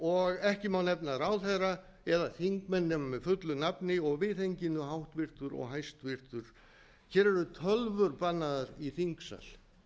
og ekki má nefna ráðherra eða þingmenn nema með fullu hafa og viðhenginu háttvirtur og hæstvirtur hér eru tölvur bannaðar í þingsal